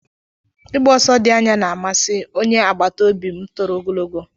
Igba ọsọ dị anya na-amasị. onye agbata obi m toro ogologo.